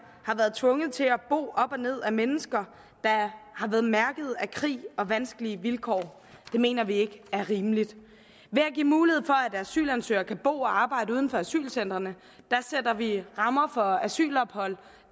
har været tvunget til at og ned ad mennesker der har været mærket af krig og vanskelige vilkår det mener vi ikke er rimeligt ved at give mulighed for at asylansøgere kan bo og arbejde uden for asylcentrene sætter vi rammer for asylophold